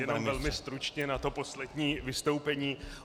Jenom velmi stručně na to poslední vystoupení.